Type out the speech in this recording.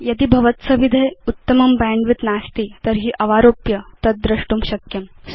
यदि भवत्सविधे उत्तमं बैण्डविड्थ नास्ति तर्हि अवारोप्य तद् द्रष्टुं शक्यम्